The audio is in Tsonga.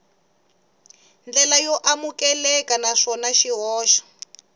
ndlela yo amukeleka naswona swihoxo